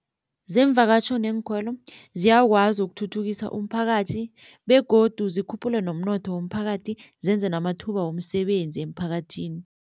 Zeemvakatjho neenkhwelo ziyakwazi ukuthuthukisa umphakathi begodu zikhuphule nomnotho womphakathi zenze namathuba womsebenzi emphakathini.